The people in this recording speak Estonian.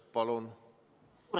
Palun!